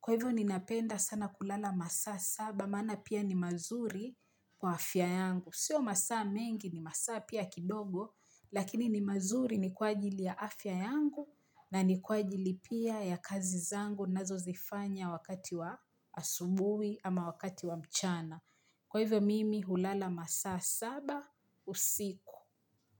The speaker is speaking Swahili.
Kwa hivyo ninapenda sana kulala masaa saba, mana pia ni mazuri kwa afya yangu. Sio masaa mengi ni masaa pia kidogo, lakini ni mazuri ni kwa ajili ya afya yangu na ni kwa ajili pia ya kazi zangu nazozifanya wakati wa asubui ama wakati wa mchana. Kwa hivyo mimi hulala masaa saba, usiku.